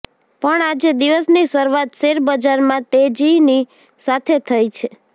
પણ આજે દિવસની શરૂઆત શેરબજારમાં તેજીની સાથે થઇ છે